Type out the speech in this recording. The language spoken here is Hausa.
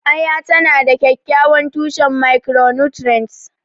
Aya tana da kyakkyawan tushen micronutrients.